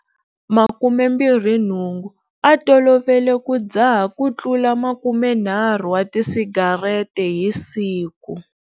28, a tolovele ku dzaha kutlula 30 wa tisigarete hi siku.